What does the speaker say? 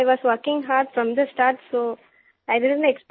सिर we are working hard from the start so I didnट